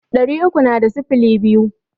Ɗari uku na da sifili biyu.